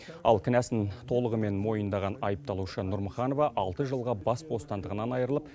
ал кінәсін толығымен мойнындаған айыпталушы нұрмұханова алты жылға бас бостандығынан айырылып